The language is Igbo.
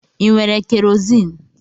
ị nwere kerozini?